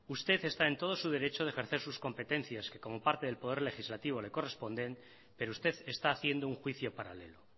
usted está en todos sus derechos de ejercer sus competencias que como parte del poder legislativo le corresponden pero usted está haciendo un juicio paralelo